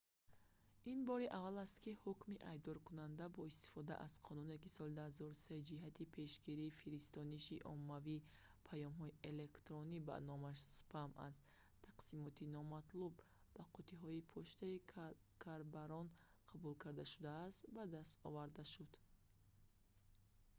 ин бори аввал аст ки ҳукми айбдоркунанда бо истифода аз қонуне ки соли 2003 ҷиҳати пешгирии фиристониши оммавии паёмҳои электронӣ ба номаш спам аз тақсимоти номатлуб ба қуттиҳои почтаи корбарон қабул карда шудааст ба даст оварда шуд